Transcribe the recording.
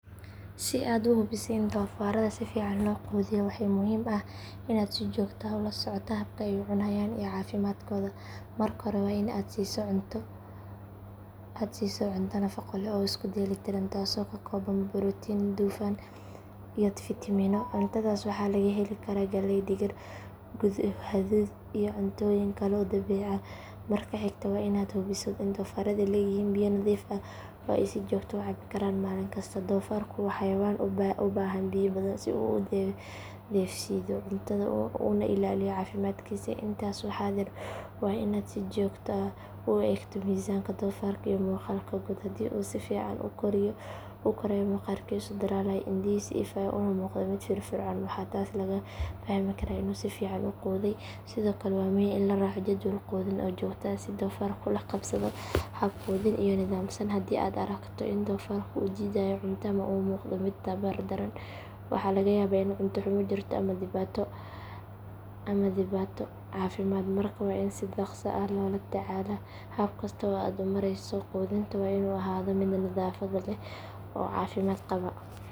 Si aad u hubiso in doofaarada si fiican loo quudiyo waxaa muhiim ah in aad si joogto ah ula socoto habka ay u cunayaan iyo caafimaadkooda. Marka hore waa in aad siiso cunto nafaqo leh oo isku dheelitiran, taasoo ka kooban borotiin, dufan iyo fiitamiino. Cuntadaas waxaa laga heli karaa galley, digir, hadhuudh iyo cuntooyin kale oo dabiici ah. Marka xigta waa in aad hubisaa in doofaaradu leeyihiin biyo nadiif ah oo ay si joogto ah u cabi karaan maalin kasta. Doofaarku waa xayawaan u baahan biyo badan si uu u dheefshiido cuntada una ilaaliyo caafimaadkiisa. Intaas waxaa dheer waa in aad si joogto ah u eegtaa miisaanka doofaarka iyo muuqaalka guud. Haddii uu si fiican u korayo, maqaarkiisu dhalaalayo, indhihiisu ifayaan, una muuqdo mid firfircoon, waxaa taas laga fahmi karaa in uu si fiican u quudhay. Sidoo kale waa muhiim in la raaco jadwal quudin oo joogto ah si doofaarku ula qabsado hab quudin oo nidaamsan. Haddii aad aragto in doofaarka uu diidayo cunto ama uu muuqdo mid tabar daran, waxaa laga yaabaa in cunto xumo jirto ama dhibaato caafimaad, markaa waa in si dhaqso ah loo la tacaalaa. Hab kasta oo aad u marayso quudinta waa in uu ahaadaa mid nadaafad leh oo caafimaad qaba.